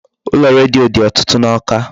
Ụlọ redio dị ọtụtụ n'Awka.